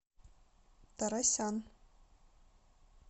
торосян